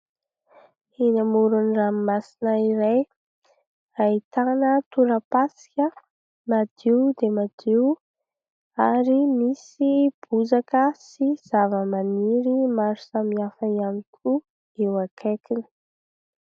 Eny amoron-dramomasina iray ahitana tora-pasika madio dia madio ary misy bozaka sy zavamaniry maro samihafa ihany koa eo akaikiny.